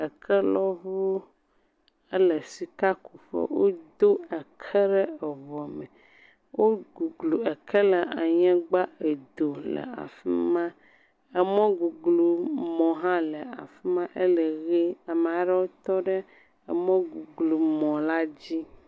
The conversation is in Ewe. Ekelɔŋu ele sikakuƒe wodo eke ɖe eŋua me. Woguglu eke la anyigba koe do le afi ma. Emɔguglumɔ hã le afi ma. Ele ʋi ame aɖewo tɔ ɖe emɔguglumɔ la dzi.